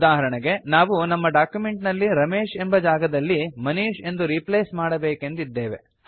ಉದಾಹರಣೆಗೆ ನಾವು ನಮ್ಮ ಡಾಕ್ಯುಮೆಂಟ್ ನಲ್ಲಿ ರಮೇಶ್ ಎಂಬ ಜಾಗದಲ್ಲಿ ಮನೀಶ್ ಎಂದು ರೀಪ್ಲೇಸ್ ಮಾಡಬೇಕೆಂದಿದ್ದೇವೆ